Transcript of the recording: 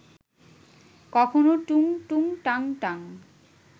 কখনো টুং টুং টাং টাং